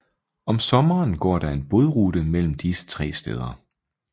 Om sommeren går der en bådrute mellem disse tre steder